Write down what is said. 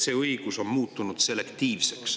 See õigus on muutunud selektiivseks.